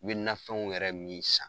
U be nafɛnw yɛrɛ min san